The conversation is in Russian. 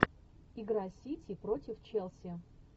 игра сити против челси